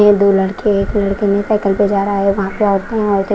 ये दो लड़के एक लड़का ने साइकिल पे जा रहा है और .